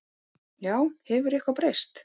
Já, hefur eitthvað breyst?